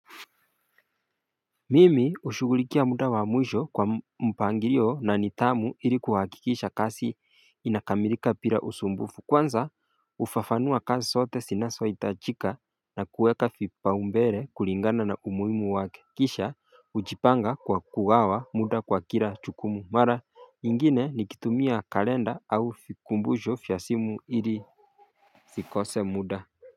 Mimi ushughulikia muda wa mwisho kwa mpangilio na nidhamu ili kuhakikisha kazi inakamilika bila usumbufu kwanza ufafanua kazi sote sinazoitajika na kuweka vipaombele kulingana na umuhimu wake Kisha ujipanga kwa kugawa muda kwa kila jukumu mara ingine nikitumia kalenda au vikumbusho vya simu ili fikose muda.